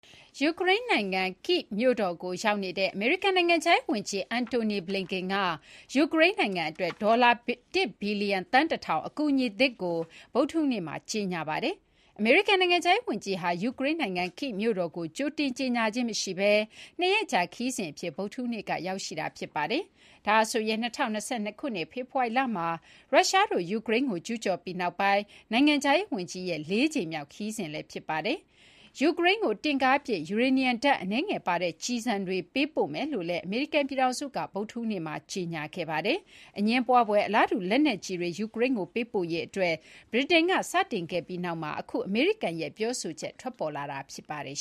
ယူကရိန်းနိုင်ငံ Kyiv မြို့တော်ကိုရောက်နေတဲ့ အမေရိကန်နိုင်ငံခြားရေးဝန်ကြီး Antony Blinken က ယူကရိန်းနိုင်ငံအတွက် ဒေါ်လာ ၁ ဘီလျံ အကူအညီသစ်ကို ဗုဒ္ဓဟူးနေ့မှာ ကြေညာခဲ့ပါတယ်။ အမေရိကန်နိုင်ငံခြားရေးဝန်ကြီးဟာ ယူကရိန်းနိုင်ငံ Kyiv မြို့တော်ကို ကြိုတင်ကြေညာခြင်းမရှိဘဲ ၂ ရက်ကြာခရီးစဉ်အဖြစ် ဗုဒ္ဓဟူးနေ့က ရောက်ရှိနေတာ ဖြစ်ပါတယ်။ ဒါဟာဆိုရင် ၂၀၂၂ ခုနှစ် ဖေဖော်ဝါရီလမှာ ရုရှားတို့ ယူကရိန်းကိုကျူးကျော်ပြီးနောက်ပိုင်း အမေရိကန် နိုင်ငံခြားရေးဝန်ကြီးရဲ့ ၄ ကြိမ်မြောက် ယူကရိန်းခရီးစဉ်လည်း ဖြစ်ပါတယ်။ ယူကရိန်းကို တင့်ကားပစ် ယူရေနီယံဓာတ် အနည်းငယ်ပါတဲ့ ကျည်ဆန်တွေ ယူကရိန်းကို ပေးပို့မယ်လို့လည်း အမေရိကန်ပြည်ထောင်စုက ဗုဒ္ဓဟူးနေ့မှာ ကြေညာခဲ့ပါတယ်။ အငြင်းပွားဖွယ် အလားတူ လက်နက်ကျည်တွေ ယူကရိန်းကို ပေးပို့ရေးအတွက် ဗြိတိန်က စတင်ခဲ့ပြီးနောက်မှာ အမေရိကန်ရဲ့ ပြောဆိုချက် ထွက်ပေါ်လာတာ ဖြစ်ပါတယ်